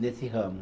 Nesse ramo.